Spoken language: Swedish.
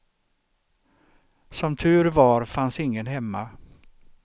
Som tur var fanns ingen hemma.